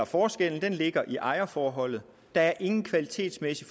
forskellen ligger i ejerforholdet der er ingen kvalitetsmæssig